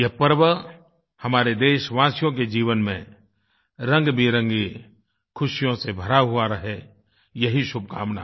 यह पर्व हमारे देशवासियों के जीवन में रंगबिरंगी खुशियों से भरा हुआ रहे यही शुभकामना